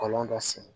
Kɔlɔn dɔ sen